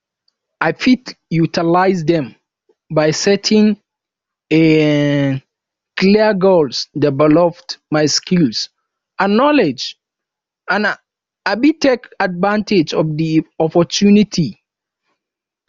i fit utilize dem by setting a um clear goals develop my skills and knowledge and um take advantage of di opportunity